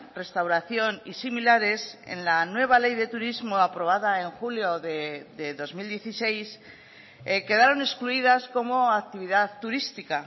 restauración y similares en la nueva ley de turismo aprobada en julio de dos mil dieciséis quedaron excluidas como actividad turística